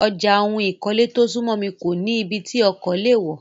Ọjà ohun ìkọ́lé tó súnmọ́ mi kó nì ibí tí ọkọ̀ lè wọ̀.